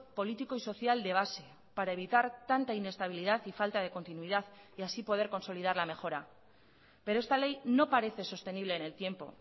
político y social de base para evitar tanta inestabilidad y falta de continuidad y así poder consolidar la mejora pero esta ley no parece sostenible en el tiempo